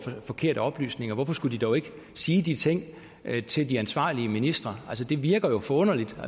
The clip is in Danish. forkerte oplysninger hvorfor skulle de dog ikke sige de ting til de ansvarlige ministre det virker jo forunderligt